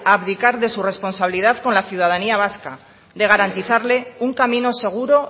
abdicar de su responsabilidad con la ciudadanía vasca de garantizarle un camino seguro